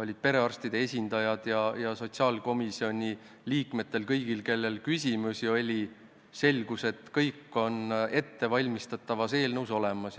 olid perearstide esindajad ja sotsiaalkomisjoni liikmed, esitati küsimusi ning selgus, et kõik on ettevalmistatavas eelnõus olemas.